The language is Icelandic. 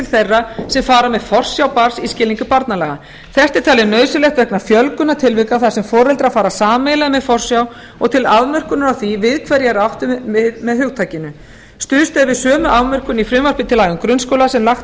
þeirra sem fara með forsjá barns í skilningi barnalaga þetta er talið nauðsynlegt vegna fjölgunar tilvika þar sem foreldrar fara sameiginlega með forsjá og til afmörkunar á því við hverja er átt með hugtakinu stuðst er við sömu afmörkun í frumvarpi til laga um grunnskóla sem lagt